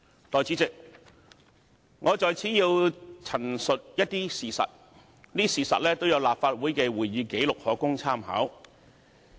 代理主席，我在此要陳述一些事實，這些事實都有立法會的會議紀錄可供參考。